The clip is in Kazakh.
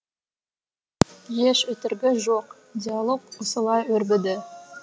еш өтірігі жоқ диалог осылай өрбіді